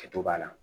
Kɛto b'a la